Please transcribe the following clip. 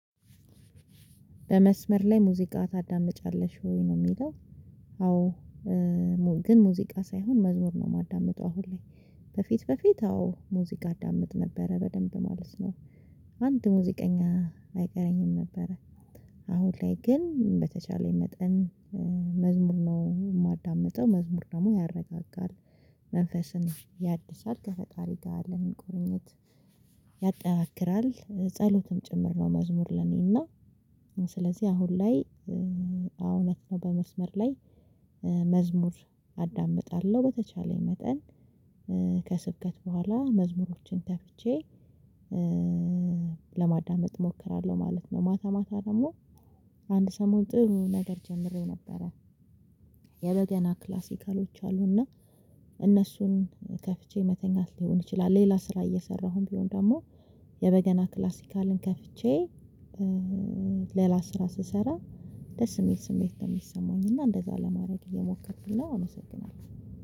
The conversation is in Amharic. በመስመር ላይ ሙዚቃ ታዳምጫለሽ ወይ ነው የሚለው? አዎ ግን ሙዚቃ ሳይሆን መዝሙር ነው የማዳምጠው አሁን ላይ። በፊት በፊት አዎ ሙዚቃ አዳምጥ ነበረ በደንብ ማለት ነው። አንድ ሙዚቀኛ አይቀረኝም ነበረ። አሁን ላይ ግን በተቻለኝ መጠን መዝሙር ነው የማዳምጠው መዝሙር ደግሞ ያረጋጋል። መንፈስን ያድሳል ከፈጣሪ ጋር ለመቆራኘት ያጠናክራል ጸሎትም ጭምር ነው መዝሙር ለኔና። ስለዚህ አሁን ላይ አዎ እውነት ነው በ መስመር ላይ። መዝሙር አዳምጣለሁ በተቻለኝ መጠን ከስብከት በኋላ መዝሙሮችን ከፍቼ ለማዳመጥ እሞክራለሁ ማለት ነው። ማታ ማታ ደግሞ አንድ ሰሞን ጥሩ ነገር ጀምሬው ነበረ። የበገና ክላሲካሎች አሉና እነሱን ከፍቼ መተኛት ሊሆን ይችላል። ሌላ ስራ እየሰራሁም ቢሆን ደግሞ የበገና ክላሲካልን ከፍቼ ሌላ ስራ ስሰራ ደስ የሚል ስሜት ነው። የሚሰማኝ እና እንደዛ ለማድረግ እየሞከርኩኝ ነው አመሰግናለሁ።